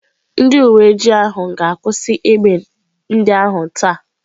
Ndị uwe ojii ga-akwụsị egbe ndị ahụ taa.